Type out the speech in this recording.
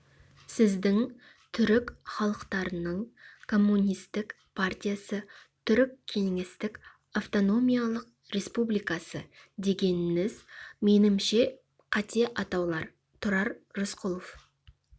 сіздің түрік халықтарының коммунистік партиясы түрік кеңестік автономиялық республикасы дегеніңіз менімше қате атаулар тұрар рысқұлович